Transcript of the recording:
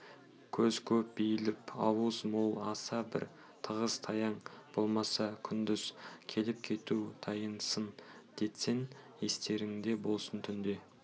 көз көп бейпіл ауыз мол аса бір тығыз-таяң болмаса күндіз келіп-кету тыйылсын дескен естеріңде болсын түнде